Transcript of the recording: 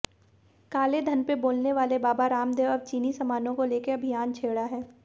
कालेधन पर बोलने वाले बाबा रामदेव अब चीनी सामानों को लेकर अभियान छेड़ा है